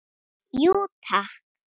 Jú takk